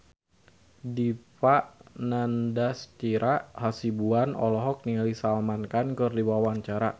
Dipa Nandastyra Hasibuan olohok ningali Salman Khan keur diwawancara